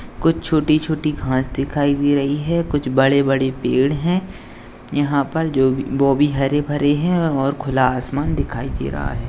कुछ छोटी-छोटी घास दिखाई दे रही है कुछ बड़े-बड़े पेड़ है यहा पर जो ओ भी हरे-भरे है और खुला आसमान दिखाई दे रहा है।